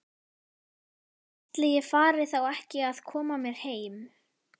Ætli ég fari þá ekki að koma mér heim.